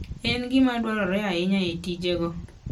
En gima dwarore ahinya e tijego.